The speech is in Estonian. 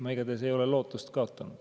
Ma igatahes ei ole lootust kaotanud.